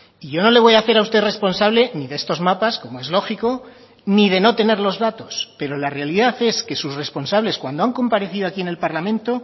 y yo no le voy a hacer a usted responsable ni de estos mapas como es lógico ni de no tener los datos pero la realidad es que sus responsables cuando han comparecido aquí en el parlamento